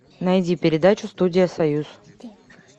найди передачу студия союз